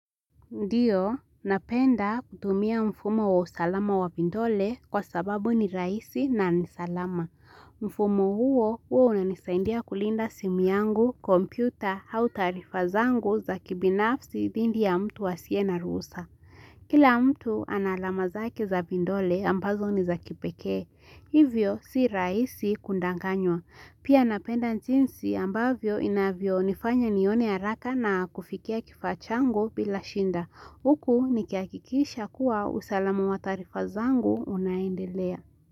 Ndiyo, napenda kutumia mfumo wa usalama wa viindole kwa sababu ni rahisi na ni salama. Mfumo huo huo unanisaindia kulinda simu yangu, kompyuta, hau taarifa zangu za kibinafsi dhindi ya mtu asiye na ruhusa. Kila mtu analama zake za vindole ambazo ni za kipekee. Hivyo si rahisi kundanganywa. Pia napenda njinsi ambavyo inavyo nifanya nione ya raka na kufikia kifachango bila shinda. Huku nikihakkisha kuwa usalamu wa taarifa zangu unaendelea.